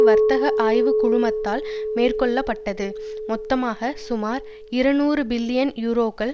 வர்த்தக ஆய்வு குழுமத்தால் மேற்கொள்ள பட்டது மொத்தமாக சுமார் இருநூறு பில்லியன் யூரோக்கள்